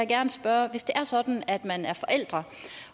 gerne spørge hvis det er sådan at man er forældre